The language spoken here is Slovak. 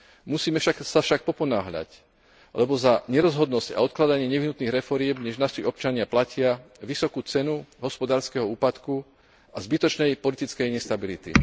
Musíme sa však poponáhľať, lebo za nerozhodnosť a odkladanie nevyhnutných reforiem dnes naši občania platia vysokú cenu hospodárskeho úpadku a zbytočnej politickej nestability.